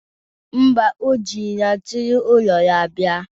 Mba, o jiri ya si n'ụlọ bịa.